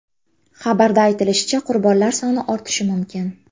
Xabarda aytilishicha, qurbonlar soni ortishi mumkin.